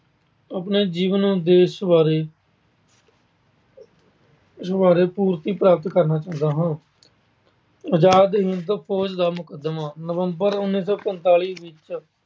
ਆਪਣੇ ਜੀਵਨ ਉਦੇਸ਼ ਬਾਰੇ ਉਸ ਬਾਰੇ ਪੂਰਤੀ ਪ੍ਰਾਪਤ ਕਰਨਾ ਚਾਹੁੰਦਾ ਹਾਂ। ਪੰਜਾਬ ਹਿੰਦ ਫੌਜ ਦਾ ਮੁਕਦਮਾ- ਨਵੰਬਰ ਉਨੀ ਸੌ ਪੰਤਾਲੀ ਵਿੱਚ